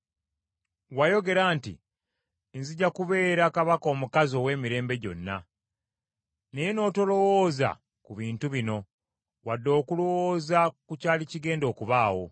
Wayogera nti, ‘Nzija kubeera kabaka omukazi emirembe gyonna,’ naye n’otolowooza ku bintu bino wadde okulowooza ku kyali kigenda okubaawo.